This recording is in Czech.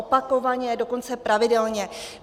Opakovaně, dokonce pravidelně.